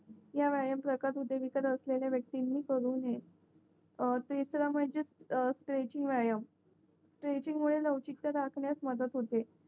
या व्यायाम प्रकार हृदय विकार असलेल्या वक्तींनी करू नये अं तिसरा म्हणजे स्ट्रेचिंग व्यायाम स्ट्रेचिंगमुळे लवचिकता राखण्यास मदत होते